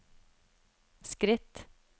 skritt